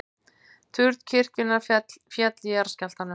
Turn kirkjunnar féll í jarðskjálftanum